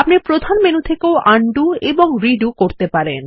প্রধান মেনু থেকেও আনডু এবং রিডু করতে পারেন